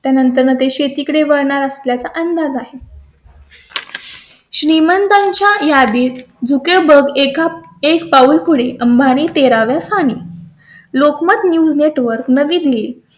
त्यानंतर ते शेतीकडे वळणार असल्या चा अंदाज आहे . श्रीमंतांच्या यादीत बघा अकरा पाऊल पुढे अंबानी तेरा व्या स्थानी Lokmat news network news network Navi Delhi